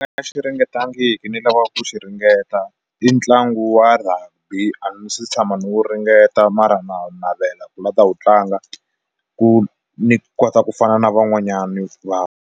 Nga xi ringetangiki ni lava va ku xi ringeta i ntlangu wa Rugby a ni se tshama ni wu ringeta mara na ku navela ku la ta wu tlanga ku ni kota ku fana na van'wanyani .